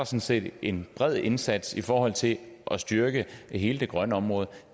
set en bred indsats i forhold til at styrke hele det grønne område